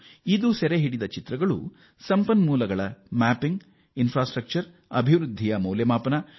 ಇದು ತೆಗೆಯುವ ಚಿತ್ರಗಳು ಸಂಪನ್ಮೂಲಗಳ ಶೋಧನೆಗೆ ಹಾಗೂ ಮೂಲಸೌಕರ್ಯಕ್ಕೆ ಅತ್ಯಂತ ಉಪಯುಕ್ತ